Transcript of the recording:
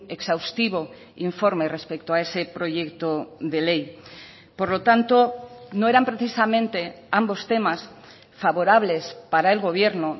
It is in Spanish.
exhaustivo informe respecto a ese proyecto de ley por lo tanto no eran precisamente ambos temas favorables para el gobierno